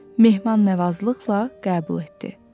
onların mehman-nəvazlıqla qəbul etdi.